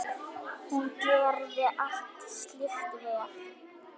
Hún gerði allt slíkt vel.